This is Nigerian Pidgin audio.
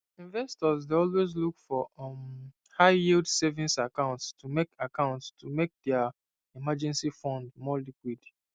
investors dey always look for um highyield savings accounts to make accounts to make dia emergency fund more liquid